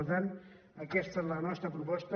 per tant aquesta és la nostra proposta